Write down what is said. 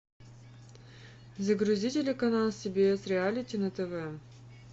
загрузи телеканал сбс реалити на тв